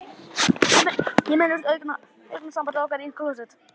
Ég minnist augnsambands okkar í klósett